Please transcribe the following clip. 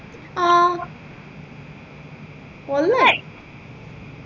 ആ വള്ളായി